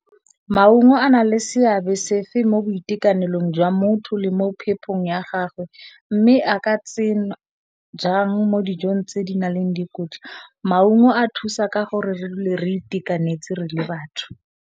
Maungo a na le seabe sefe mo boitekanelong jwa motho le mo phepong ya gagwe mme, a ka tsena jang mo dijong tse di na leng dikotla? Maungo a thusa ka gore re dule re itekanetse re le batho.